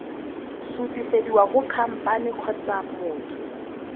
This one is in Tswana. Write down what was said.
sutisediwa go khamphane kgotsa motho